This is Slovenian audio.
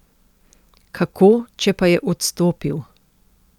Kako, če pa je odstopil?